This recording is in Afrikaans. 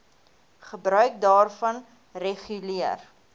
gebruik daarvan reguleer